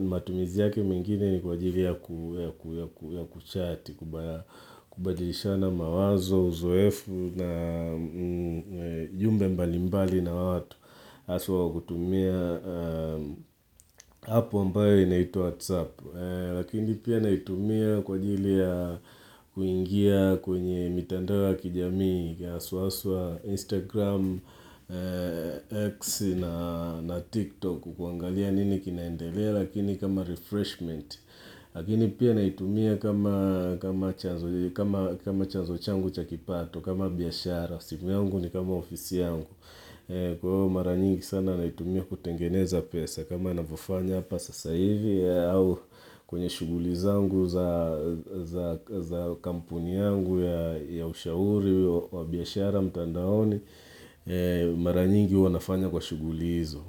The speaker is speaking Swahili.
matumizi yake mengine ni kwa ajili ya kuchati, kubadilishana mawazo, uzoefu na jumbe mbali mbali na watu. hAswa kutumia apu ambayo inaitwa WhatsApp Lakini pia naitumia kwa ajili ya kuingia kwenye mitandao ya kijamii hAswa haswa Instagram, X na TikTok kuangalia nini kinaendelea Lakini kama refreshment Lakini pia naitumia kama chanzo changu cha kipato kama biashara, simu yangu ni kama ofisi yangu Kwa mara nyingi sana naitumia kutengeneza pesa kama navyofanya hapa sasa hivi au kwenye shughuli zangu za kampuni yangu ya ushauri wa biashara mtandaoni, mara nyingi huwa nafanya kwa shughuli hizo.